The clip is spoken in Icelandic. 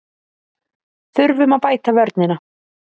Þurfum að bæta vörnina